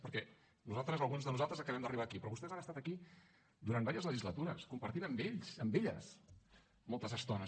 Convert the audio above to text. perquè nosaltres alguns de nosaltres acabem d’arribar aquí però vostès han estat aquí durant diverses legislatures compartint amb ells amb elles moltes estones